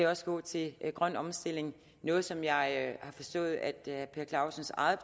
også gå til grøn omstilling noget som jeg har forstået at herre per clausens eget